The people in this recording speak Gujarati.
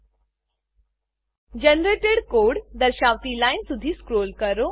જનરેટેડ કોડ જનરેટેડ કોડ દર્શાવતી લાઈન સુધી સ્ક્રોલ કરો